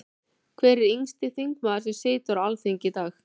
Hver er yngsti þingmaður sem situr á Alþingi í dag?